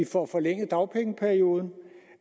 får forlænget dagpengeperioden